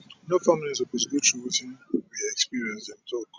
no family suppose go through wetin we experience dem tok